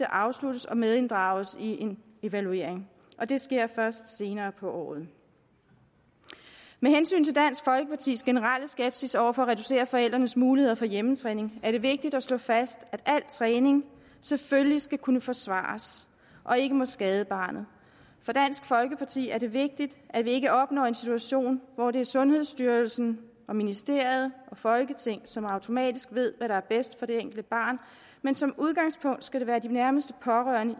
afsluttes og medinddrages i en evaluering det sker først senere på året med hensyn til dansk folkepartis generelle skepsis over for at reducere forældrenes muligheder for hjemmetræning er det vigtigt at slå fast at al træning selvfølgelig skal kunne forsvares og ikke må skade barnet for dansk folkeparti er det vigtigt at vi ikke opnår en situation hvor det er sundhedsstyrelsen og ministeriet og folketinget som automatisk ved hvad der er bedst for det enkelte barn men som udgangspunkt skal det være de nærmeste pårørende